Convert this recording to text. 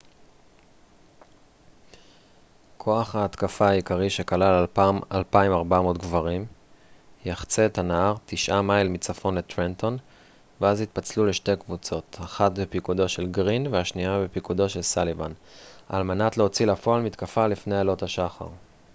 כוח ההתקפה העיקרי שכלל 2,400 גברים יחצה את הנהר תשעה מייל מצפון לטרנטון ואז יתפצלו לשתי קבוצות אחת בפיקודו של גרין והשנייה בפיקודו של סאליבן על מנת להוציא לפועל מתקפה לפני עלות השחר